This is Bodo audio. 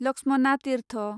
लक्ष्मणा तिर्थ